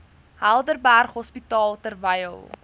helderberg hospitaal terwyl